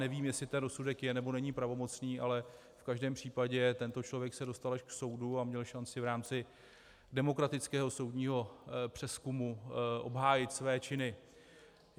Nevím, jestli ten rozsudek je, nebo není pravomocný, ale v každém případě tento člověk se dostal až k soudu a měl šanci v rámci demokratického soudního přezkumu obhájit své činy.